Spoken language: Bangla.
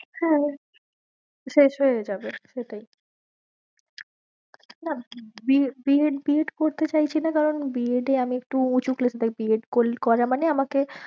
হ্যাঁ আমি শেষ হয়ে যাবে, সেটাই না B. A, B. ed, B. ed করতে চাইছি না কারণ B. ed এ আমি একটু উঁচু class এ তাই B. ed করা মানে আমাকে